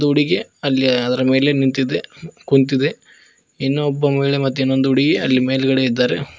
ಹುಡುಗಿ ಅಲ್ಲಿ ಅದರ ಮೇಲೆ ನಿಂತಿದೆ ಕುಂತಿದೆ ಇನ್ನೊಬ್ಬ ಮಹಿಳೆ ಮತ್ತೆ ಇನ್ನೊಂದು ಹುಡುಗಿ ಅಲ್ಲಿ ಮೇಲ್ಗಡೆ ಇದ್ದಾರೆ.